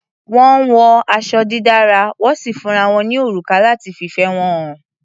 Wọ́n wọ aṣọ dídára, wọ́n sì fúnra wọn ní òrùka láti fìfẹ́ wọn hàn.